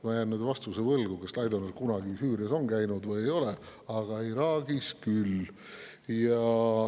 Ma jään võlgu vastuse, kas Laidoner kunagi Süürias on käinud või ei ole, aga Iraagis küll.